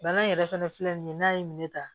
Bana in yɛrɛ fɛnɛ filɛ nin ye n'a ye minɛ ta